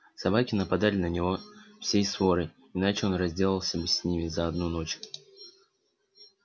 собаки нападали на него всей сворой иначе он разделался бы с ними за одну ночь